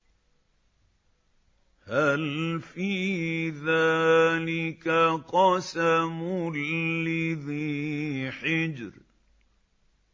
هَلْ فِي ذَٰلِكَ قَسَمٌ لِّذِي حِجْرٍ